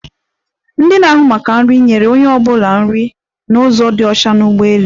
Ndi na-áhụ̀ maka nri, nyere onye ọ bụla nri n'ụzo dị ọcha n'ụgbọelu.